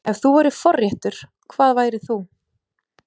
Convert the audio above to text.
Ef þú værir forréttur, hvað værir þú?